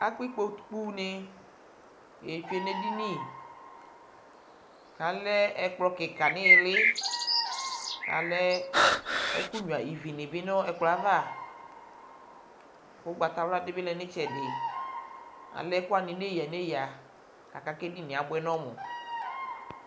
akpa ikpokunɩ lɛ nʊ edini, kʊ alɛ ɛkplɔ kika nʊ iili, alɛ kɔpʊnɩ bɩ nʊ ɛkplɔ yɛ ava, kʊ sɔlɔdɩ bɩ lɛ nʊ itsɛdɩ, alɛ ɛkʊwanɩ nʊ eyǝnʊeyǝ, aka kʊ edini yɛ abʊɛ nʊ ɔmʊ